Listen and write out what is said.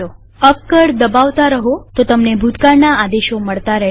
up કળ દબાવતા રહો તો તમને ભૂતકાળના આદેશો મળતા રહેશે